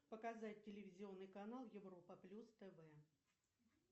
показать телевизионный канал европа плюс тв